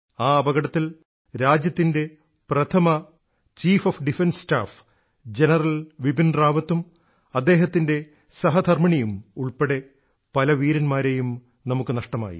ആ അപകടത്തിൽ രാജ്യത്തിൻറെ പ്രഥമ സിഡിഎസ്സ് ജനറൽ ബിപിൻ റാവത്തും അദ്ദേഹത്തിൻറെ സഹധർമ്മിണിയും ഉൾപ്പെടെ പല വീരൻമാരെയും നമ്മുക്ക് നഷ്ടമായി